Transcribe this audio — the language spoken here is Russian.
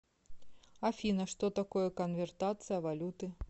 афина что такое конвертация валюты